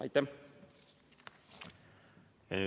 Aitäh!